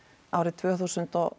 árið tvö þúsund og